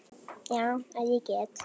Já, ef ég get.